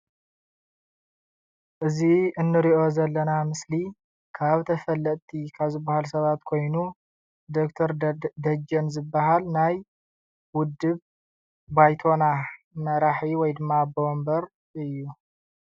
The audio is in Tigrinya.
እዚ እንሪኦ ዘለና ምስሊ ካብ ተፈለጥቲ ካብ ዝበሃሉ ሰባት ኮይኑ ዶክተር ደደ ደጀን ዝበሃል ናይ ውድብ ባይቶና መራሒ ወይ ድማ አቦ ወንበር እዩ፡፡